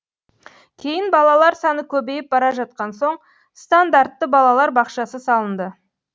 кейін балалар саны көбейіп бара жатқан соң стандартты балалар бақшасы салынды